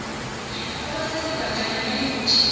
abasese bancani nayikuthi